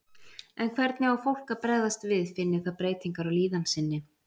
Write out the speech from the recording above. En hvernig á fólk að bregðast við finni það breytingar á líðan sinni?